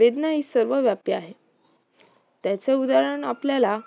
वेदना ही सर्वव्यापी आहेत्याचे उदाहरण आपल्याला